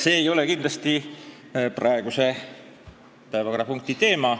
See ei ole kindlasti praeguse päevakorrapunkti teema.